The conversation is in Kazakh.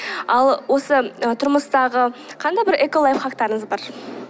ал осы ы тұрмыстағы қандай бір эколайфхактарыңыз бар